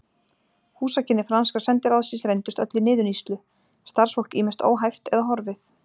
Húsakynni franska sendiráðsins reyndust öll í niðurníðslu, starfsfólk ýmist óhæft eða horfið.